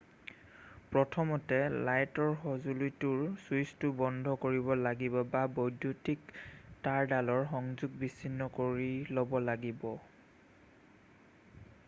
প্ৰথমতে লাইটৰ সজুলিটোৰ ছুইছটো বন্ধ কৰিব লাগিব বা বৈদ্যুতিক তাঁৰডালৰ সংযোগ বিছিন্ন কৰি ল'ব লাগিব